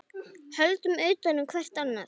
Höldum utan um hvert annað.